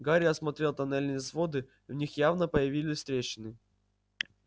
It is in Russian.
гарри осмотрел тоннельные своды в них явно появились трещины